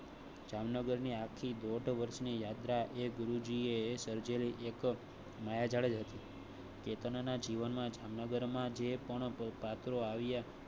જામનગરની આખી દોઢ વર્ષ ને યાત્રાએ ગુરુ જીએ સર્જરી એક માયાજાળ જ હતી. કેતનના જીવનમાં જામનગર ના જે પણ પાત્રો આવ્યા